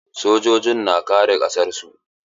Sojoji na kare ƙasar su.